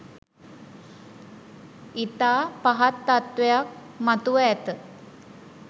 ඉතා පහත් තත්වයක් මතුව ඇත